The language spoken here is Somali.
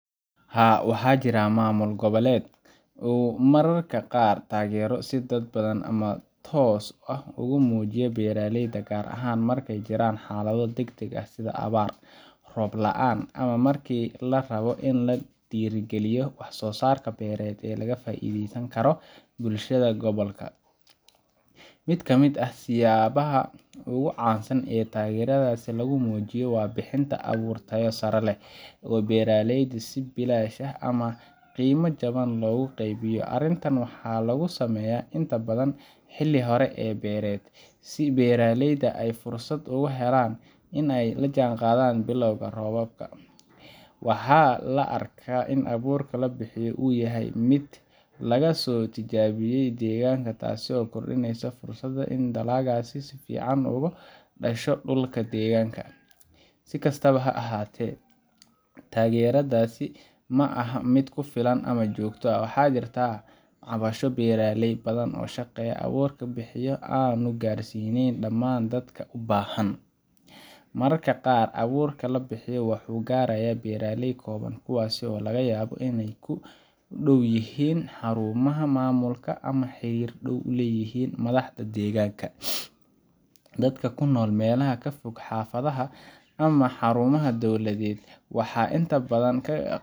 Haa, waxaa jirta in maamulka goboleed uu mararka qaar taageero si dadban ama toos ah ugu muujiyo beeraleyda, gaar ahaan marka ay jiraan xaalado degdeg ah sida abaar, roob la’aan ama markii la rabo in la dhiirrigeliyo wax-soo-saar beereed oo ka faa’iidayn kara bulshada gobolka. Mid ka mid ah siyaabaha ugu caansan ee taageeradaas lagu muujiyo waa bixinta abuur tayo sare leh oo beeraleyda si bilaash ah ama qiimo jaban loogu qaybiyo. Arrintan waxaa lagu sameeyaa inta badan xilli hore ee beereed, si beeraleyda ay fursad ugu helaan in ay la jaanqaadaan bilowga roobka. Waxaa la arkaa in abuurka la bixiyo uu yahay mid laga soo tijaabiyay deegaanka, taasoo kordhisa fursadda in dalaggaasi si fiican uga dhasho dhulka deegaankaas. Si kastaba ha ahaatee, taageeradaasi ma aha mid ku filan ama joogto ah, waxaana jirta cabasho beeraley badan oo sheegaya in abuurka la bixiyo aanu gaarsiisnayn dhammaan dadka u baahan. Mararka qaar, abuurka la bixiyo wuxuu gaarayaa beeraley kooban, kuwaas oo laga yaabo inay ku dhow yihiin xarumaha maamulka ama ay xiriir dhow la leeyihiin madaxda deegaanka. Dadka ku nool meelaha ka fog xaafadaha ama xarumaha dowladeed, waxay inta badan